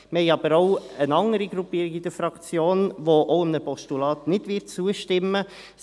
Wir haben aber auch eine andere Gruppierung in der Fraktion, welche auch einem Postulat nicht zustimmen wird.